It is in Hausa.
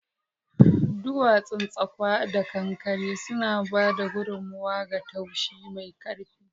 Duwatsun tsakwa da kankare suna ba da gudummawa ga tushe mai ƙarfi.